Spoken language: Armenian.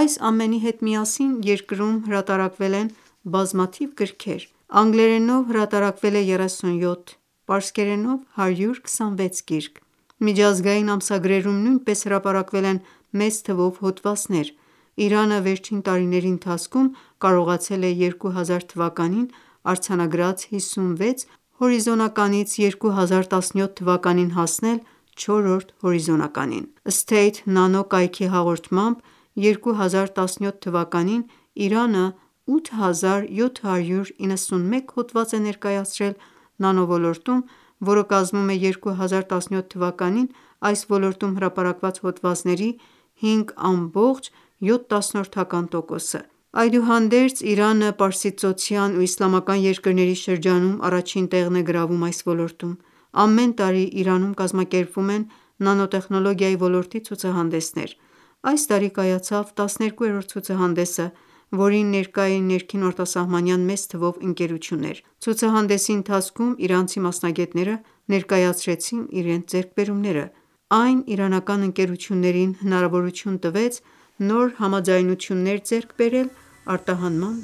Այս ամենի հետ միասին, երկրում հրատարակվել են բազաթիվ գրքեր: Անգլերենով հրատարակվել է 37, պարսկերենով՝ 126 գիրք: Միջազգային ամսագրերում նույնպես հրապարակվել են մեծ թվով հոդվածներ: Իրանը վերջին տարիների ընթացքում, կարողացել է 2000թ արձանագրած 56 հորիզոնականից, 2017թ հասնել չորրորդ հորիզոնականին: «Սթեյթ-նանո» կայքի հաղորդմամբ, 2017թ Իրանը 8791 հոդված է ներկայացրել նանո ոլորտում, որը կազմում է 2017թ այս ոլորտում հրապարակված հոդվածների 5.7 տոկոսը: Այդուհանդերձ, Իրանը, պարսիցծոցյան ու իսլամական երկրների շրջանում, առաջին տեղն է գրավում այս ոլորտում: Ամեն տարի, Իրանում կազմակերպվում են նանոտեխնոլոգիայի ոլորտի ցուցահանդեսներ: Այս տարի կայացավ 12-րդ ցուցահանդեսը, որին ներկա էին ներքին ու արտասահմանյան մեծ թվով ընկերություններ: Ցուցահանդեսի ընթացքում, իրանցի մասնագետները ներկայացրեցին իրենց ձեռքբերումները: Այն իրանական ընկերություններին հնարավորություն տվեց նոր համաձայնություններ ձեռք բերել արտահանման